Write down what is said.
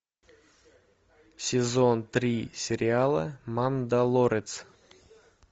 сезон три сериала мандалорец